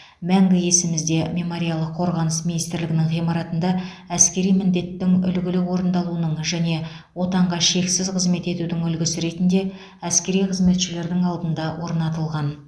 мәңгі есімізде мемориалы қорғаныс министрлігінің ғимаратында әскери міндеттің үлгілі орындалуының және отанға шексіз қызмет етудің үлгісі ретінде әскери қызметшілердің алдында орнатылған